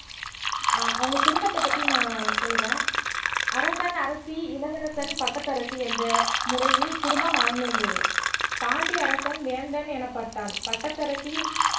அஹ் அவங்க குடும்பத்தைப் பத்தி நான் சொல்றேன் அரசன் அரசி இளவரசன் பட்டத்தரசி என்ற முறையில் குடும்பம் அமைந்திருந்தது பாண்டிய அரசன் வேந்தன் எனப்பட்டான் பட்டத்தரசி